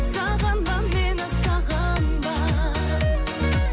сағынба мені сағынба